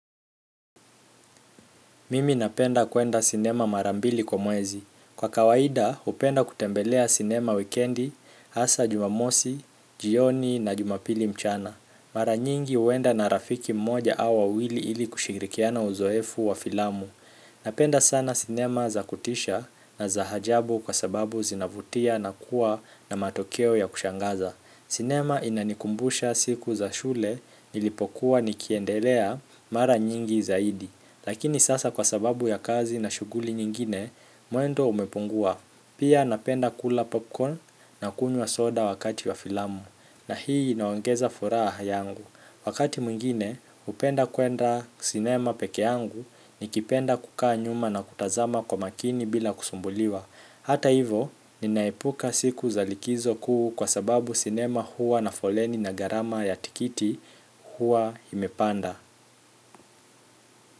Mimi napenda kwenda sinema mara mbili kwa mwezi. Kwa kawaida, hupenda kutembelea sinema wikendi, hasaa jumamosi jioni na jumapili mchana. Mara nyingi huenda na rafiki mmoja au wawili ili kushirikiana uzoefu wa filamu. Napenda sana sinema za kutisha na za ajabu kwa sababu zinavutia na kuwa na matokeo ya kushangaza. Sinema inanikumbusha siku za shule nilipokua nikiendelea mara nyingi zaidi. Lakini sasa kwa sababu ya kazi na shughuli nyingine, mwendo umepungua. Pia napenda kula popcorn na kunywa soda wakati wa filamu. Na hii inaongeza furaha yangu. Wakati mwingine, hupenda kwenda sinema peke yangu nikipenda kukaa nyuma na kutazama kwa makini bila kusumbuliwa. Hata hivo, ninaepuka siku za likizo kuu kwa sababu sinema huwa na foleni na gharama ya tikiti huwa imepanda.